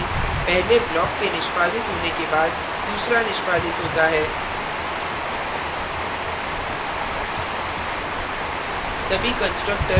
हम देखते हैं कि पहले block के निष्पादित होने के बाद दूसरा निष्पादित होता है